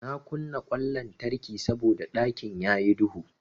Na kunna ƙwan lantarki saboda ɗakin yayi duhu.